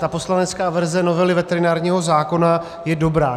Ta poslanecká verze novely veterinárního zákona je dobrá.